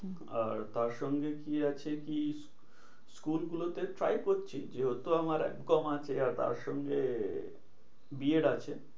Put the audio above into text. আর তারসঙ্গে কি আছে কি? school গুলো তে try করছি। যেহেতু আমার এম কম আছে আর তার সঙ্গে বি এড আছে।